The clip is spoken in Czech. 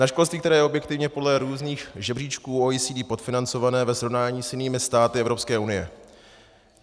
Na školství, které je objektivně podle různých žebříčků OECD podfinancované ve srovnání s jinými státy Evropské unie.